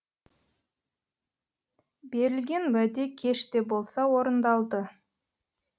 берілген уәде кеш те болса орындалды